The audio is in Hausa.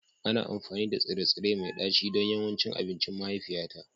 Ana amfani da tsire-tsire mai ɗaci don yawancin abincin mahaifiyata